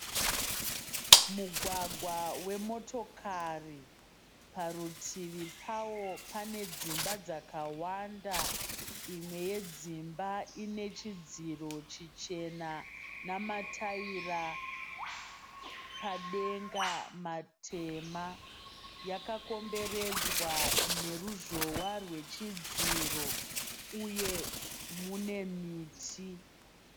Mugwagwa wemotokari. Parutivi pawo pane dzimba dzakawanda. Imwe yedzimba ine chidziro chichena namataira padenga matema. Yakakomberedzwa neruzhowa rwechidziro uye mune miti.